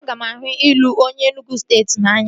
Aga m ahụ ịlụ onye Enugwu steeti n'anya